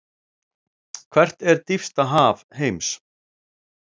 Hvert er dýpsta haf heims?